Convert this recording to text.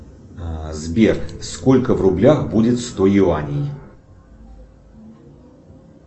сбер сколько в рублях будет сто юаней